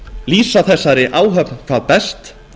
lýsa þessari áhöfn hvað best